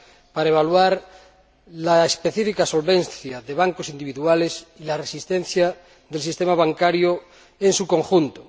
para evaluar la solvencia específica de bancos individuales y la resistencia del sistema bancario en su conjunto.